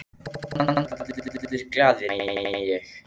Já, kannski voru allir glaðir nema ég.